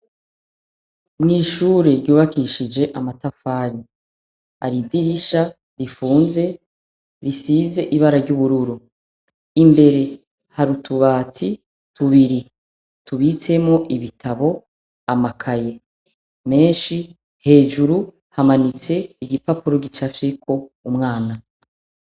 Mw'ishure ryubakishije amatafari ,haridirisha rifunze risize ibara ry'ubururu .Imbere harutubati tubiri tubitsemwo ibitabo, amakaye .Menshi hejuru hamanitse igipapuro gicafyeko umwana.